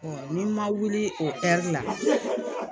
n'i ma wuli o la